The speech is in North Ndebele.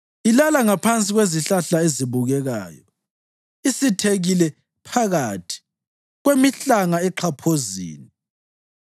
Ilala ngaphansi kwezihlahla ezibukekayo, isithekile phakathi kwemihlanga exhaphozini.